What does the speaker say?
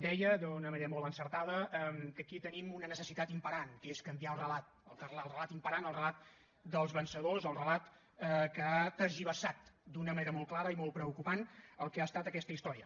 deia d’una manera molt encertada que aquí tenim una necessitat imperant que és canviar el relat el relat imperant o el relat dels vencedors el relat que ha tergiversat d’una manera molt clara i molt preocupant el que ha estat aquesta història